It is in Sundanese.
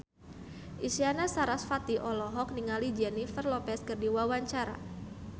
Isyana Sarasvati olohok ningali Jennifer Lopez keur diwawancara